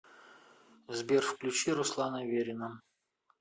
сбер включи руслана верина